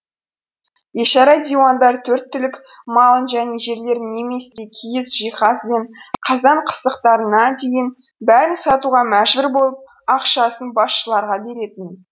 бейшара диуандар төрт түлік малын және жерлерін немесе киіз жиһаз бен қазан қасықтарына дейін бәрін сатуға мәжбүр болып ақшасын басшыларға беретін